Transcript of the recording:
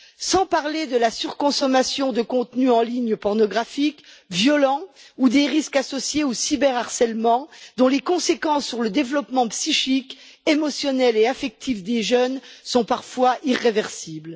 Sans parler de la surconsommation de contenus en ligne pornographiques et violents ou des risques associés au cyber harcèlement, dont les conséquences sur le développement psychique, émotionnel et affectif des jeunes sont parfois irréversibles.